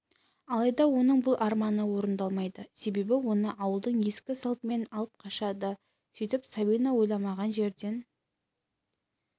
алайда оның бұл арманы орындалмайды себебі оны ауылдың ескі салтымен алып қашады сөйтіп сабина ойламаған жерден